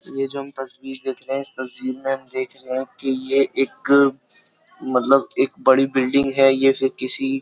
ये जो हम तस्वीर देख रहे हैं इस तस्वीर में हम देख रहे हैं कि ये एक मतलब एक बड़ी बिल्डिंग है ये फिर किसी --